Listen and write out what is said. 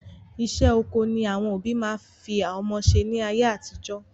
Iṣẹ́ oko ni àwọn òbí máa ń fi ọmọ ṣe ni ayé àtijọ́